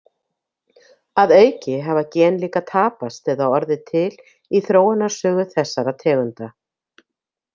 Að auki hafa gen líka tapast eða orðið til í þróunarsögu þessara tegunda.